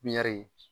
Pipiniyɛri